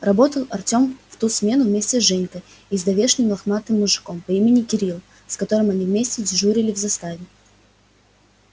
работал артём в ту смену вместе с женькой и давешним лохматым мужиком по имени кирилл с которым они вместе дежурили в заставе